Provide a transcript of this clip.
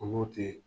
Olu tee